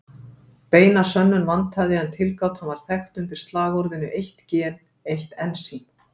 Beina sönnun vantaði en tilgátan var þekkt undir slagorðinu eitt gen, eitt ensím!